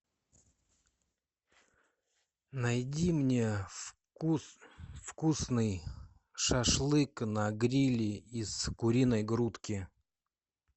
найди мне вкусный шашлык на гриле из куриной грудки